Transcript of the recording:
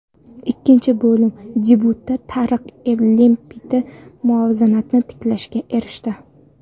Ikkinchi bo‘lim debyutida Tariq Lempti muvozanatni tiklashga erishdi.